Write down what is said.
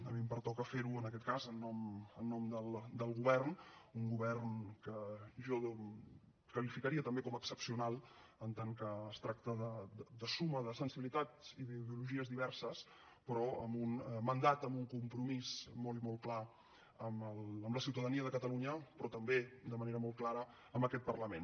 a mi em pertoca fer ho en aquest cas en nom del govern un govern que jo qualificaria també com a excepcional en tant que es tracta de suma de sensibilitats i d’ideologies diverses però amb un mandat amb un compromís molt i molt clar amb la ciutadania de catalunya però també de manera molt clara amb aquest parlament